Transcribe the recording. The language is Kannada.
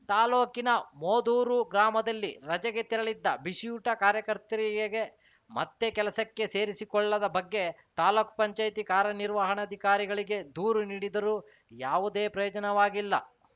ತಾಲೂಕಿನ ಮೋದೂರು ಗ್ರಾಮದಲ್ಲಿ ರಜೆಗೆ ತೆರಳಿದ್ದ ಬಿಸಿಯೂಟ ಕಾರ್ಯಕರ್ತೆಯರಿಗೆ ಮತ್ತೆ ಕೆಲಸಕ್ಕೆ ಸೇರಿಸಿಕೊಳ್ಳದ ಬಗ್ಗೆ ತಾಲೂಕ್ ಪಂಚಾಯತಿ ಕಾರ್ಯನಿರ್ವಹಣಾಧಿಕಾರಿಗಳಿಗೆ ದೂರು ನೀಡಿದರೂ ಯಾವುದೇ ಪ್ರಯೋಜನವಾಗಿಲ್ಲ